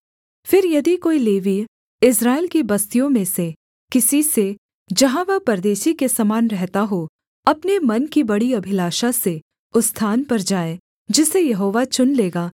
फिर यदि कोई लेवीय इस्राएल की बस्तियों में से किसी से जहाँ वह परदेशी के समान रहता हो अपने मन की बड़ी अभिलाषा से उस स्थान पर जाए जिसे यहोवा चुन लेगा